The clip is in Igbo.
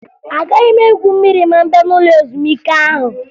Agaghị m egwu mmiri ma m bịa n'ụlọ ezumike ahụ